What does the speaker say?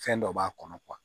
Fɛn dɔ b'a kɔnɔ